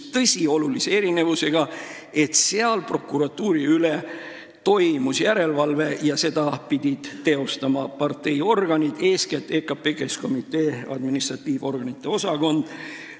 Tõsi, oli oluline erinevus: prokuratuuri üle tehti järelevalvet ja seda pidid teostama parteiorganid, eeskätt EKP Keskkomitee administratiivorganite osakond.